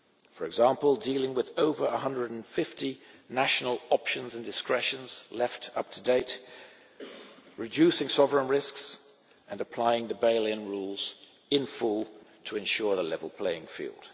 For example, dealing with over 150 national options and discretions left to date, reducing sovereign risks, and applying the bail in rules in full to ensure a level playing field.